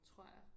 Tror jeg